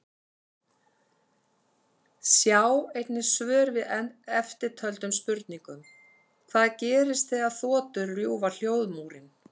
Sjá einnig svör við eftirtöldum spurningum: Hvað gerist þegar þotur rjúfa hljóðmúrinn?